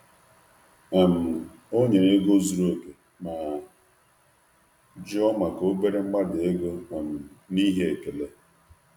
Ọ nyere ego ziri ezi ma rịọ maka ntakịrị mbelata n’ihi nkwanye ùgwù.